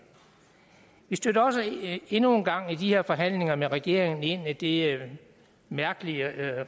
vi stødte også endnu en gang i de her forhandlinger med regeringen ind i det mærkelige